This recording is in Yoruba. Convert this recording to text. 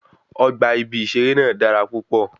Ọgbà ibí seré náà dára púpọ̀